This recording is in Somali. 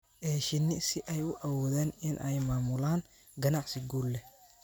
ee shinni si ay u awoodaan in ay maamulaan ganacsi guul leh.